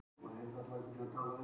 Slíkt sé algerlega þarflaust